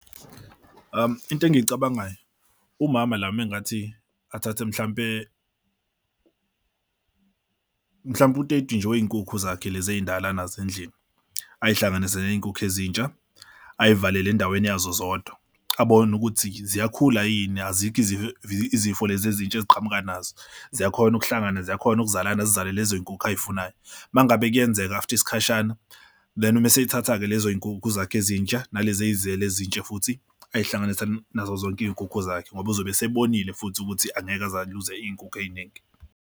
Into engiyicabangayo, umama la uma engathi athathe mhlampe mhlawumbe mhlampe u-thirty nje wey'nkukhu zakhe lezi ey'ndala nazo endlini ayihlanganise ney'nkukhu ezintsha ay'valele endaweni yazo zodwa abone ukuthi ziyakhula yini azikho izifo, izifo lezi ezintsha eziqhamuka nazo ziyakhona ukuhlangana ziyakhona ukuzalana, zizale lezo y'nkukhu ayifunayo. Uma ngabe kuyenzeka after isikhashana then uma esayithatha-ke lezo y'nkukhu zakho ezintsha nalezi azira ezintsha, futhi ayi uhlanganisani nazo zonke iy'nkukhu zakhe, ngoba uzobe asebonile futhi ukuthi angeke aze aluze iy'nkukhu ey'ningi.